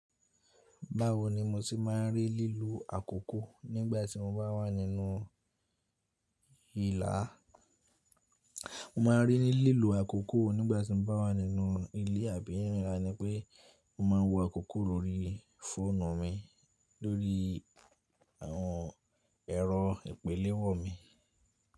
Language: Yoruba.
Báwo ni mo ti máà ń rí lílo àkókò nígbà tí mo bá wà nínú ilà? Mo máa ń rí lílo àkókò nígbà tí mo bá wà nínú ilé àbí ní ìlà ni pé mo máa ń wo àkókò lórí fóònù mi, lórí àwọn ẹ̀rọ ìpelewọ́ mi.